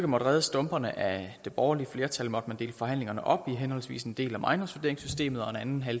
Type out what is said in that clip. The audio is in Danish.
måtte redde stumperne af det borgerlige flertal måtte man dele forhandlingerne op i henholdsvis en del om ejendomsvurderingssystemet og en anden